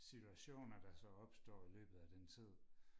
situationer der så opstår i løbet af den tid